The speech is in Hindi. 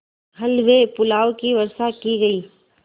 हलवेपुलाव की वर्षासी की गयी